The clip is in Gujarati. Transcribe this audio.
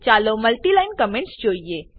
ચાલો મલ્ટીલાઈન કમેન્ટસ જોઈએ